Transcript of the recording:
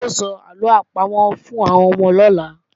Yóò sọ àlọ́ àpamọ̀ fún àwọn ọmọ lọ́la